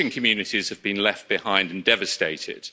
Fishing communities have been left behind and devastated.